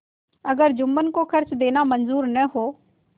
अगर जुम्मन को खर्च देना मंजूर न हो